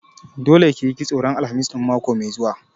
Dole ki yi kitso ran Alhamis ɗin mako mai zuwa!